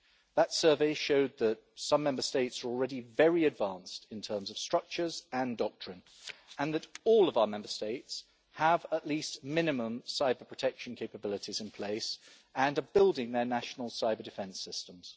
That survey showed that some Member States are already very advanced in terms of structures and doctrine and that all of our Member States have at least minimum cyber-protection capabilities in place and are building their national cyber-defence systems.